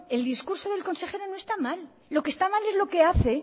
el discurso del consejero no está mal lo que está mal es lo que hace